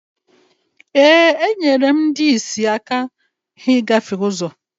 ee, enyere m ndị ọlụsị aka ịgafe ụzọ